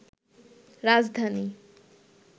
রাজধানী